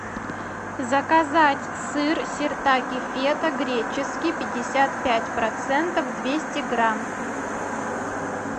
заказать сыр сиртаки фета греческий пятьдесят пять процентов двести грамм